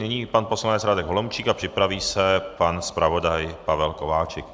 Nyní pan poslanec Radek Holomčík a připraví se pan zpravodaj Pavel Kováčik.